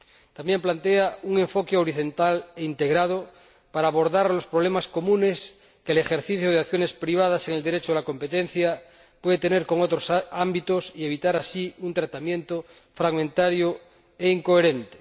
También plantea un enfoque horizontal e integrado para abordar los problemas comunes que el ejercicio de acciones privadas en el Derecho de la competencia puede tener con otros ámbitos y evitar así un tratamiento fragmentario e incoherente.